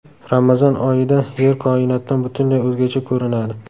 Ramazon oyida Yer koinotdan butunlay o‘zgacha ko‘rinadi .